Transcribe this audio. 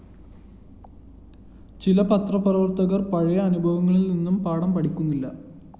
ചില പത്രപ്രവര്‍ത്തകര്‍ പഴയ അനുഭവങ്ങളില്‍ നിന്ന് പാഠം പഠിക്കുന്നില്ല